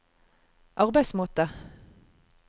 arbeidsmåte